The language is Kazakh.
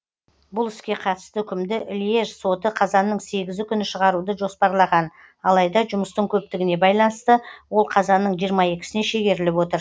бұл іске қатысты үкімді льеж соты қазанның сегізі күні шығаруды жоспарлаған алайда жұмыстың көптігіне байланысты ол қазанның жиырма екісіне шегеріліп отыр